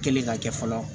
Kɛlen ka kɛ fɔlɔ